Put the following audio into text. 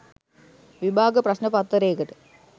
විභාග ප්‍රශ්ණ පත්තරේකට